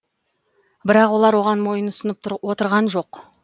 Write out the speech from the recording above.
бірақ олар оған мойынсұнып отырған жоқ